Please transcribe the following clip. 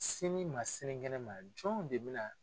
Sini ma sini kɛnɛ ma jɔn de bɛ na